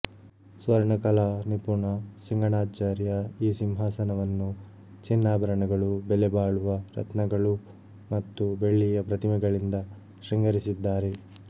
ಸ್ವರ್ಣಕಲಾ ನಿಪುಣ ಸಿಂಗಣ್ಣಾಚಾರ್ಯ ಈ ಸಿಂಹಾಸನವನ್ನು ಚಿನ್ನಾಭರಣಗಳು ಬೆಲೆ ಬಾಳುವ ರತ್ನಗಳು ಮತ್ತು ಬೆಳ್ಳಿಯ ಪ್ರತಿಮೆಗಳಿಂದ ಶೃಂಗರಿಸಿದ್ದಾರೆ